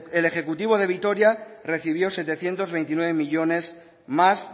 el ejecutivo de vitoria recibió setecientos veintinueve millónes más